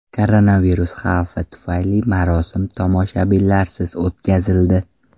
Koronavirus xavfi tufayli marosim tomoshabinlarsiz o‘tkazildi .